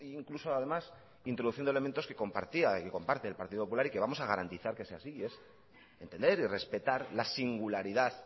incluso además introduciendo elementos que compartía y que comparte el partido popular y que vamos a garantizar que sea así y es entender y respetar la singularidad